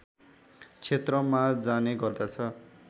क्षेत्रमा जाने गर्दछ